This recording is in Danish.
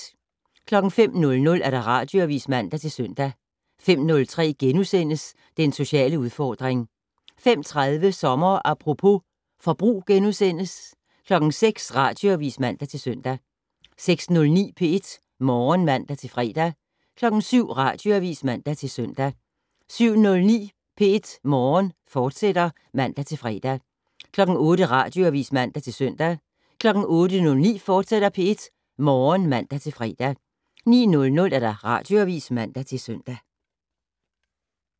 05:00: Radioavis (man-søn) 05:03: Den sociale udfordring * 05:30: Sommer Apropos - forbrug * 06:00: Radioavis (man-søn) 06:09: P1 Morgen (man-fre) 07:00: Radioavis (man-søn) 07:09: P1 Morgen, fortsat (man-fre) 08:00: Radioavis (man-søn) 08:09: P1 Morgen, fortsat (man-fre) 09:00: Radioavis (man-søn)